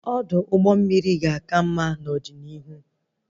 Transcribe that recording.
Ọdụ ụgbọ mmiri ga-aka mma n'ọdịnihu